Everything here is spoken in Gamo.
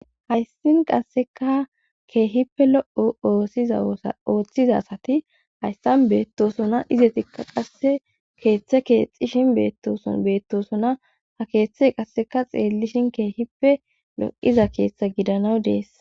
hayssin qasseka keehippe lo7o sizaooththizasati hayssan beettosuna izetikka qasse keeththe keexxishin beettoson beettosuna ha keeththe qasseka xeellishin keehippe do7iza keeththa gidanaw dees